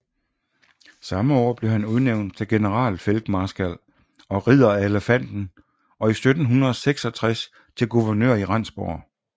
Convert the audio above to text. Samme år blev han udnævnt til generalfeltmarskal og Ridder af Elefanten og 1766 til guvernør i Rendsborg